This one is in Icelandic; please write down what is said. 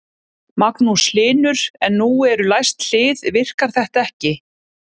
Magnús Hlynur: En nú eru læst hlið, virkar þetta ekki?